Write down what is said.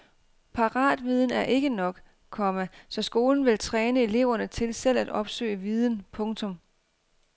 Paratviden er ikke nok, komma så skolen vil træne eleverne til selv at opsøge viden. punktum